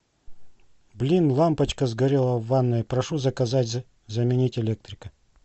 блин лампочка сгорела в ванной прошу заказать заменить электрика